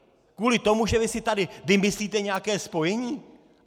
Kvůli tomu, že vy si tady vymyslíte nějaké spojení?!